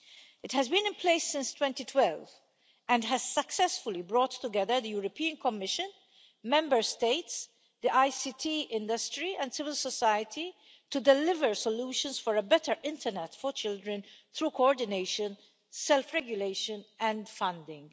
It has been in place since 2012 and has successfully brought together the European Commission, Member States, the ICT industry and civil society to deliver solutions for a better internet for children through coordination, self regulation and funding.